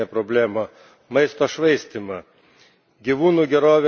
Ne, mes turime didesnę problemą maisto švaistymą.